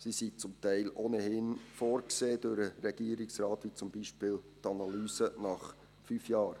Sie sind vom Regierungsrat zum Teil ohnehin vorgesehen, wie zum Beispiel die Analyse nach fünf Jahren.